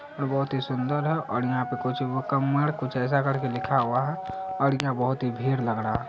और बहुत ही सुन्दर है और यहां पे कुछ मुकम्मर ऐसा कर के कुछ लिखा हुआ है और यहाँ बहुत ही भीड़ लग रहा।